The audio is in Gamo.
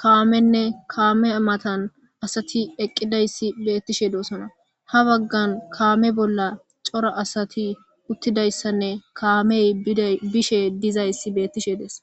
kamene kameya matani asati eqidayis betishe de'osona ha bagan kame bolla coora asati utidayisane kamey gede bishe dizayis betishe de'es